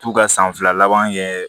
T'u ka san fila laban kɛ